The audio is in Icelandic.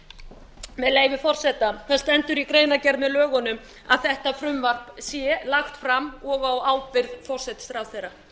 leyfi forseta það stendur í greinargerð með lögunum að þetta frumvarp sé lagt fram og á ábyrgð forsætisráðherra